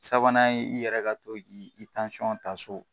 Sabanan i yɛrɛ ka to k' i ta so.